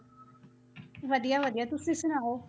ਵਧੀਆ ਵਧੀਆ ਤੁਸੀਂ ਸੁਣਾਓ?